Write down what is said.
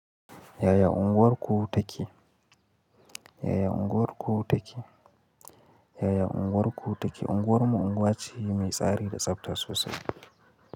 Yaya unguwarku take? Yaya unguwarku take? Yaya unguwarku take? Unguwar mu unguwa ce mai tsari da tsafta sosai.